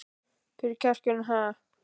Hvar er kjarkurinn, ha?